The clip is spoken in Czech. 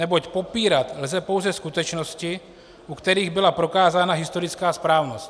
Neboť popírat lze pouze skutečnosti, u kterých byla prokázána historická správnost.